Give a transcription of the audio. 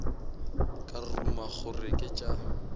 ka ruma gore ke tša